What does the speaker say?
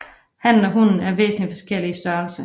Hannen og hunnen er væsentlig forskellige i størrelse